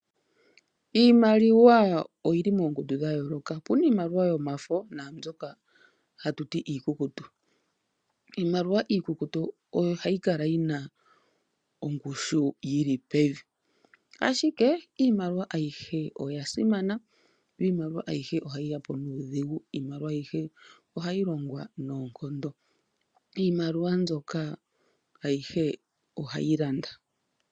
Iimaliwa oyili moongundu dha yooloka, opuna iimaliwa yomafo naambyoka hatu ti iikukutu. Iimaliwa iikukutu oyo hayi kala yina ongushu yili pevi, ashike iimaliwa oyihe oya simana, yo iimaliwa ayihe yapo nuudhigu, iimaliwa ayihe ohayi longwa nuudhigu, iimaliwa ayihe mbyoka ohayi landa.